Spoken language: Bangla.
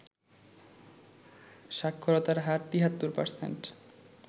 সাক্ষরতার হার ৭৩%